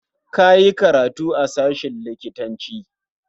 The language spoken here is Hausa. Ka yi karatu a sashen likitanci.